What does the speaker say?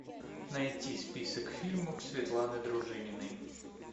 найти список фильмов светланы дружининой